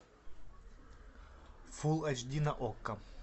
фул эйч ди на окко